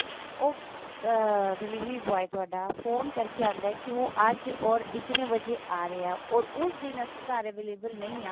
ਉਹ ਅਹ delivery boy ਤੁਹਾਡਾ ਫੋਨ ਕਰਕੇ ਆਉਂਦਾ ਕੀ ਉਹ ਅੱਜ or ਇਤਨੇ ਵਜੇ ਆ ਰਿਹਾ ਹੈ or ਉਸ ਦਿਨ ਅਸੀਂ ਘਰ available ਨਹੀਂ ਹਾਂ